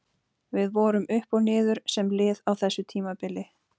Við vorum upp og niður sem lið á þessu tímabili.